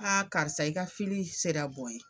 K'a karisa i ka sera bɔ ye.